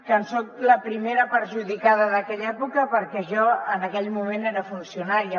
que en soc la primera perjudicada d’aquella època perquè jo en aquell moment era funcionària